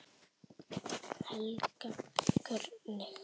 Helga: Hvernig?